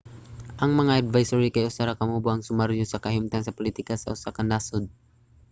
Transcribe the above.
ang mga advisory kay usa ra ka mubo nga sumaryo sa kahimtang sa politika sa usa ka nasud